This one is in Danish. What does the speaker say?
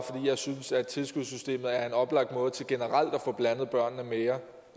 jeg synes at tilskudssystemet er en oplagt måde til generelt at få blandet børnene mere